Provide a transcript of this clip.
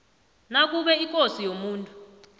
nakube ikosi yomuntu